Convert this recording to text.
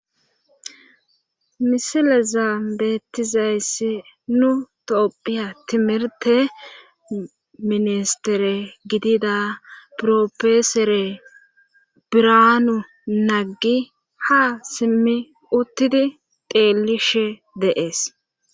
misileza beettizayessi nu topphiya timirte ministere gidida profesore biraanu naggi ha simmi uttidi deelishe deees